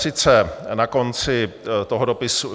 Sice na konci toho dopisu...